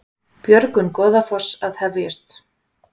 Björgun Goðafoss að hefjast